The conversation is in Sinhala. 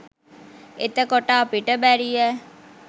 එතකොට අපිට බැරියෑ